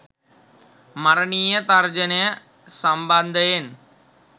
මරණීය තර්ජනය සම්බන්ධයෙන්